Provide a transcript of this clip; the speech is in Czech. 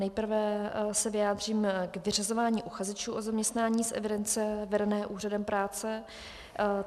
Nejprve se vyjádřím k vyřazování uchazečů o zaměstnání z evidence vedené úřadem práce.